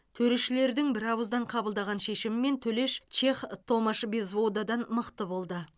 төрешілердің бірауыздан қабылдаған шешімімен төлеш чех томаш безводадан мықты болды